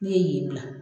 Ne ye yen bila